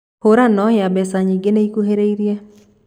Hũrano ya mbeca nyĩngĩ nĩ ĩkuhĩrĩirie